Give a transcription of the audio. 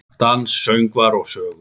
Dans, söngvar og sögur.